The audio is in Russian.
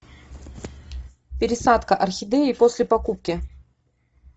пересадка орхидеи после покупки